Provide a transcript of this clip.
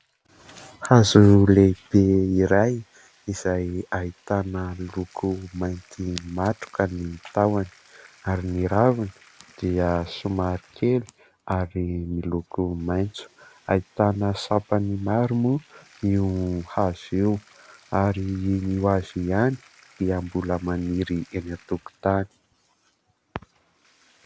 Hazo lehibe iray izay ahitana loko mainty matroka ny tahony ary ny raviny dia somary kely ary miloko maitso, ahitana sampany maro moa io hazo io ary io hazo io ihany dia mbola maniry eny an-tokotany.